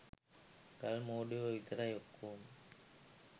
ගල් මෝඩයෝ විතරයි.ඔක්කොම